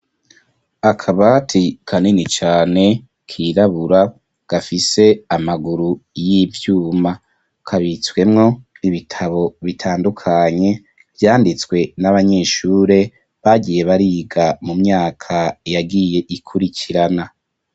Akabati, kanini cane, kirabura, gafise amaguru y'ivyuma; kabitswemwo ibitabo, bitandukanye, vyanditswe n'abanyeshure, bagiye bariga, mu myaka yagiye, ikurikirana.